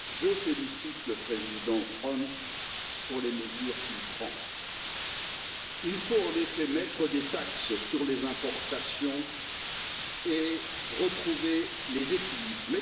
Monsieur le Président, je félicite le président Trump pour les mesures qu'il prend. Il faut en effet mettre des taxes sur les importations et retrouver les équilibres.